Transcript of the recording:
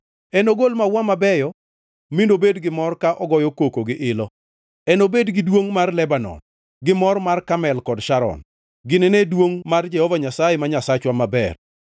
enogol maua mabeyo, mi nobed gi mor ka ogoyo koko gi ilo. Enobed gi duongʼ mar Lebanon, gi mor mar Karmel kod Sharon; ginine duongʼ mar Jehova Nyasaye, ma Nyasachwa maber.